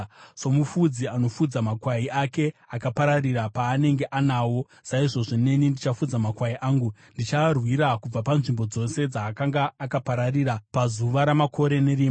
Somufudzi anofudza makwai ake akapararira paanenge anawo, saizvozvo neni ndichafudza makwai angu. Ndichaarwira kubva panzvimbo dzose dzaanga akapararira pazuva ramakore nerima.